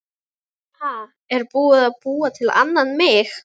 Ha, er búið að búa til annan mig?